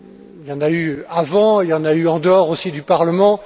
Il y en a eu avant, il y en a eu en dehors aussi du Parlement.